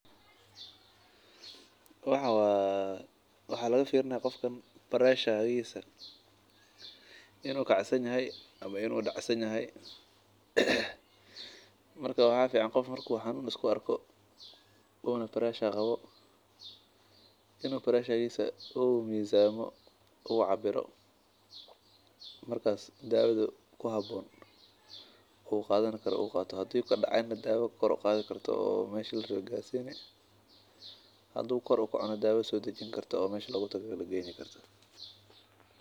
Waxaan waa waxaa laga fiirini hayaa diiga inuu kacsan yahay ama uu dacsan yahay inuu iska shakiyo uu mizamo uu cabiro kadib uu daawa qaato haduu kacay na daawo dajin karto hadii uu dacay daawo kor uqaadi karto.